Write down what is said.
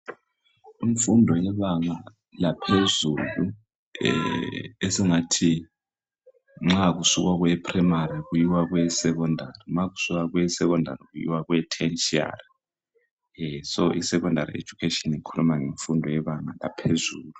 Imfundo yebanga laphezulu eh esingathi nxa usuka kweyephurayimari kuyiwa kweyesekhondari nxa kusuka kweyesekondari kuyiwa kweyetheshari so isekhondari ejukatshini ikhuluma ngemfundo yebanga laphezulu.